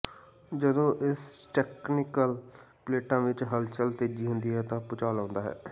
ਜਦੋਂ ਇਸ ਟੈਕਟੋਨਿਕਲ ਪਲੇਟਾਂ ਵਿੱਚ ਹਲਚਲ ਤੇਜ ਹੁੰਦੀ ਹੈ ਤਾਂ ਭੂਚਾਲ ਆਉਂਦਾ ਹੈ